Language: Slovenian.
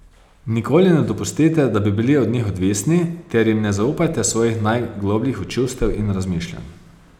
Nikoli ne dopustite, da bi bili od njih odvisni, ter jim ne zaupajte svojih najglobljih čustev in razmišljanj.